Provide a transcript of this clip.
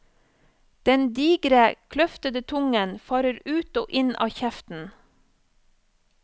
Den digre, kløftede tungen farer ut og inn av kjeften.